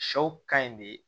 Sɛw ka ɲi de